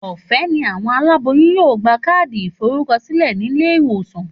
Òfé ni àwon aláboyún yóò gba káàdì ìforúko sílè nílé ìwòsàn